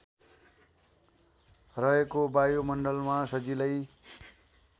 रहेको वायुमण्डलमा सजिलै